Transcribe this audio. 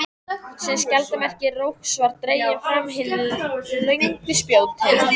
sem skjaldarmerki rógs verða dregin fram hin löngu spjótin.